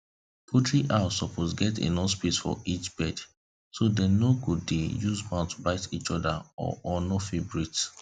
poultry house suppose get enough space for each bird so dem no go dey use mouth bite each other or or no fit breathe